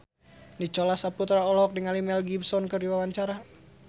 Nicholas Saputra olohok ningali Mel Gibson keur diwawancara